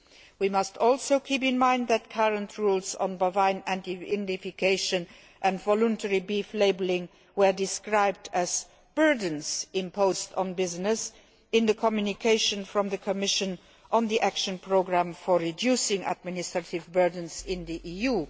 We must also keep in mind that current rules on bovine identification and voluntary beef labelling were described as burdens' imposed on business in the communication from the Commission on the Action Programme for Reducing Administrative Burdens in the